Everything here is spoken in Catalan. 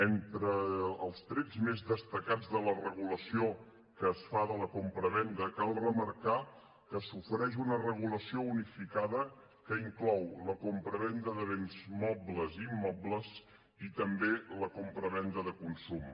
entre els trets més destacats de la regulació que es fa de la compravenda cal remarcar que s’ofereix una regulació unificada que inclou la compravenda de béns mobles i immobles i també la compravenda de consum